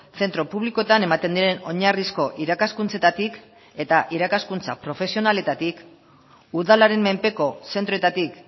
zentro publikoetan ematen diren oinarrizko irakaskuntzetatik eta irakaskuntza profesionaletatik udalaren menpeko zentroetatik